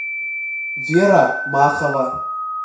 вера махова